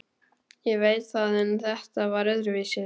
Ég veit það en þetta var öðruvísi.